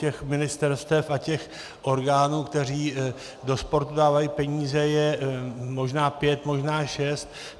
Těch ministerstev a těch orgánů, které do sportu dávají peníze, je možná pět, možná šest.